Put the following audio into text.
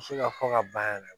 Muso ka fɔ ka ban yɛrɛ